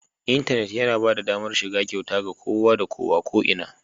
Intanit yana ba da damar shiga kyauta ga kowa da kowa, ko'ina